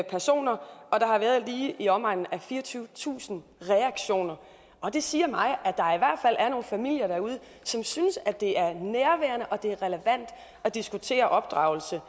personer og der har været lige i omegnen af fireogtyvetusind reaktioner og det siger mig at familier derude som synes at det er nærværende og det er relevant at diskutere opdragelse